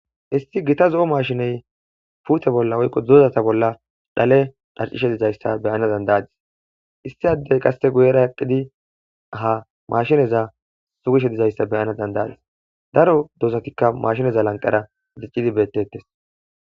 Issi gitta z"o mashiney pute bolla woyikko dozata bolla dhale dhadhishshe dizayssa beyana dandayadis Issi adey qase guyera eqidi ha mashineza sugishshe dizayissa beyanassi dandaydis daro dozatikka mashineza lanqera dicidi bettetes